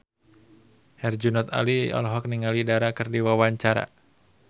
Herjunot Ali olohok ningali Dara keur diwawancara